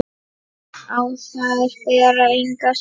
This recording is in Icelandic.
Á þær ber engan skugga.